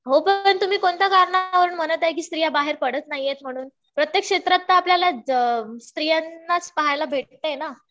हो. पण तुम्ही कोणत्या कारणांमुळे म्हणत आहे कि स्त्रिया बाहेर पडत नाही म्हणून. प्रत्येक क्षेत्रात तर आपल्याला स्त्रियांनाच पाहायला भेटतंय ना.